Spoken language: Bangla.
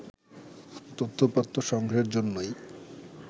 তথ্য-উপাত্ত সংগ্রহের জন্যই